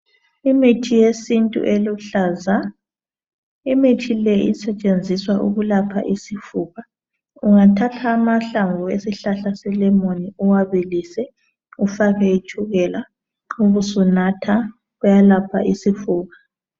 Imithi yesintu eluhlaza. Imithi le isetshenziswa ukwelapha isifuba. Ungathatha amahlamvu esihlahla selemoni uwabilise ufake itshukela ubusunatha kuyalapha isifuba.